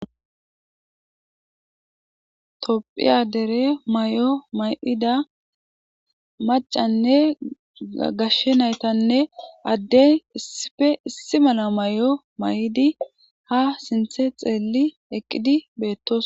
topphiya dere may7o may7ida macanne gashshe naytanne adden issife issi mala mayo mayidi ha sinthe xeeli eqqidi beettos.